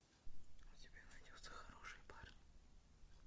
у тебя найдется хорошие парни